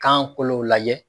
Kankolo lajɛ.